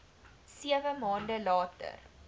sewe maande later